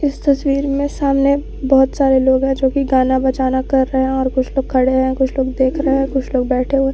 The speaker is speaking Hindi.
इस तस्वीर में सामने बहुत सारे लोग हैं जो की गाना बजाना कर रहे हैं और कुछ लोग खड़े हैं कुछ लोग देख रहे हैं कुछ लोग बैठे हुए।